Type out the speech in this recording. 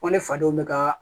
Ko ne fadenw bɛ kaa